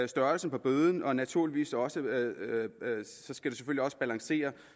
størrelsen på bøden og naturligvis også balancere